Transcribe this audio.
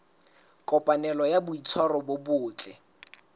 kopanelo ya boitshwaro bo botle